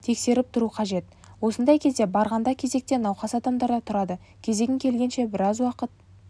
тексеріп тұру қажет осындай кезде барғанда кезекте науқас адамдар да тұрады кезегің келгенше біраз уақыт